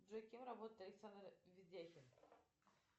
джой кем работает александр ведяхин